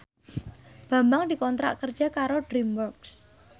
Bambang dikontrak kerja karo DreamWorks